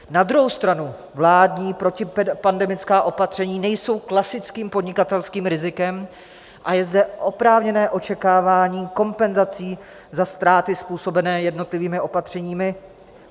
Na druhou stranu vládní protipandemická opatření nejsou klasickým podnikatelským rizikem a je zde oprávněné očekávání kompenzací za ztráty způsobené jednotlivými opatřeními.